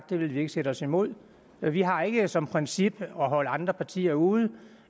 det ville vi ikke sætte os imod vi har ikke som princip at holde andre partier ude